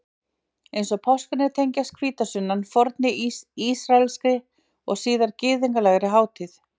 Eins og páskarnir tengist hvítasunnan fornri ísraelskri og síðar gyðinglegri hátíð.